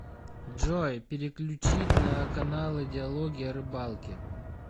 джой переключить на каналы диалоги о рыбалке